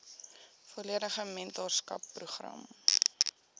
volledige mentorskap program